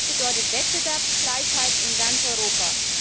Das bedeutet Wettbewerbsgleichheit in ganz Europa.